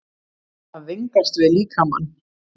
AÐ VINGAST VIÐ LÍKAMANN